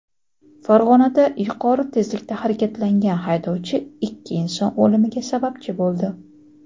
Farg‘onada yuqori tezlikda harakatlangan haydovchi ikki inson o‘limiga sababchi bo‘ldi.